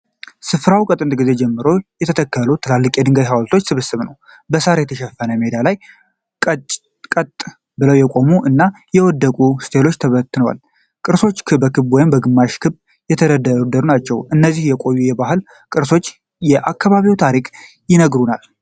ስፍራው ከጥንት ጊዜ ጀምሮ የተተከሉ ትላልቅ የድንጋይ ሃውልቶች ስብስብ ነው። በሳር የተሸፈነው ሜዳ ላይ ቀጥ ብለው የቆሙ እና የወደቁ ስቴሎች ተበትነዋል። ቅርሶቹ በክብ ወይም በግማሽ ክብ የተደረደሩ ናቸው። እነዚህ የቆዩ የባህል ቅርሶች የአካባቢውን ታሪክ ይነግሩናል።